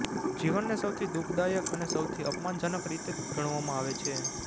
જીવનને સૌથી દુઃખદાયક અને સૌથી અપમાનજનક રીતે ગણવામાં આવે છે